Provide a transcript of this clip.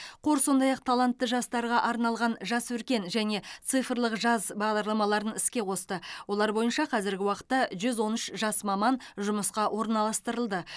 қор сондай ақ талантты жастарға арналған жас өркен және цифрлық жаз бағдарламаларын іске қосты олар бойынша қазіргі уақытта жүз он үш жас маман жұмысқа орналастырылды